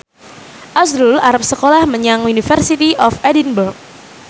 azrul arep sekolah menyang University of Edinburgh